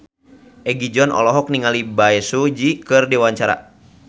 Egi John olohok ningali Bae Su Ji keur diwawancara